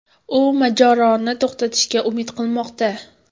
U mojaroni to‘xtatishga umid qilmoqda.